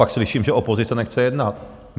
Pak slyším, že opozice nechce jednat.